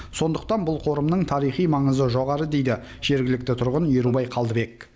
сондықтан бұл қорымның тарихи маңызы жоғары дейді жергілікті тұрғын ерубай қалдыбек